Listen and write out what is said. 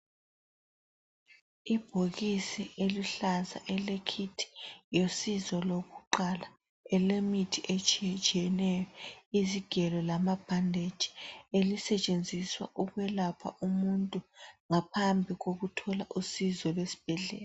Ibhokisi eluhlaza ele- Kit lusizo lokuqala elemithi etshiyetshiyeneyo, izigelo lamabhandeji elisetshenziswa ukwelapha umuntu ngaphambi kokuthola usizo lwesibhedlela.